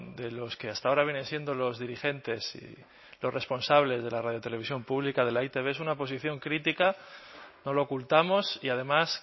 de los que hasta ahora vienen siendo los dirigentes y los responsables de la radio televisión pública de la e i te be es una posición crítica no lo ocultamos y además